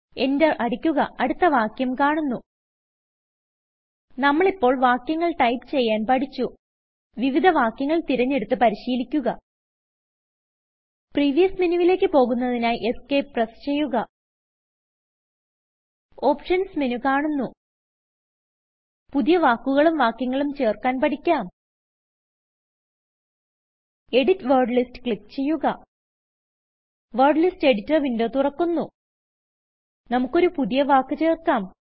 Enterഅടിക്കുകഅടുത്ത വാക്യം കാണുന്നു നമ്മളിപ്പോൾ വാക്യങ്ങൾ ടൈപ്പ് ചെയ്യാൻ പഠിച്ചു വിവിധ വാക്യങ്ങൾ തിരഞ്ഞെടുത്ത് പരിശീലിക്കുക പ്രീവിയസ് menuവിലേക്ക് പോകുന്നതിനായി Escപ്രസ് ചെയ്യുക ഓപ്ഷൻസ് മെനു കാണുന്നു പുതിയ വാക്കുകളും വാക്യങ്ങളും ചേർക്കാൻ പഠിക്കാം എഡിറ്റ് വേർഡ് Listsക്ലിക്ക് ചെയ്യുക വേർഡ് ലിസ്റ്റ് Editorവിന്ഡോ തുറക്കുന്നു നമ്മുക്കൊരു പുതിയ വാക്ക് ചേർക്കാം